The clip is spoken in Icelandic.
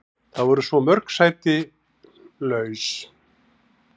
Það voru svo mörg laus sæti.